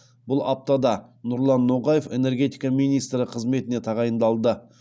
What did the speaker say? бұл аптада нұрлан ноғаев энергетика министрі қызметіне тағайындалды